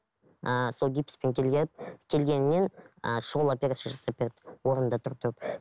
ыыы сол гипспен келген келгеннен ыыы шұғыл операция жасап берді орнында тұрып тұрып